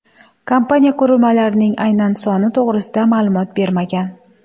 Kompaniya qurilmalarning aynan soni to‘g‘risida ma’lumot bermagan.